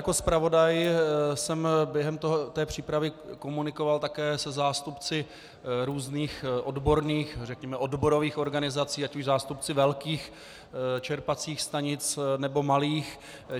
Jako zpravodaj jsem během té přípravy komunikoval také se zástupci různých odborných, řekněme odborových organizací, ať už zástupci velkých čerpacích stanic, nebo malých.